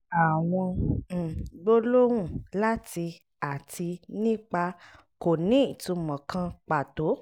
àwọn um gbólóhùn 'lati' àti 'nípa' kò ní ìtumò kan pàtó.